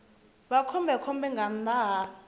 vha khombekhombe nga nnḓa ha